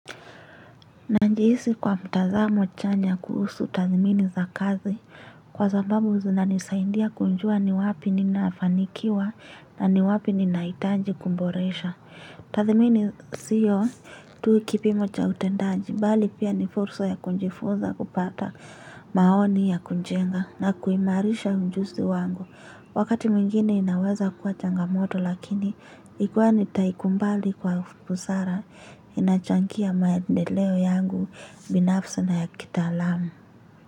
Najihisi kwa mtazamo chanya kuhusu tathimini za kazi kwa sababu zinanisaindia kujua ni wapi ninafanikiwa na ni wapi ninahitaji kuboresha. Tathimini siyo tu kipimo cha utendaji, bali pia ni fursa ya kujifuza kupata maoni ya kujenga na kuimarisha ujuzi wangu. Wakati mwingini inaweza kuwa changamoto lakini ikiwa nitaikubali kwa busara, inachangia maendeleo yangu binafsi na ya kitaalamu.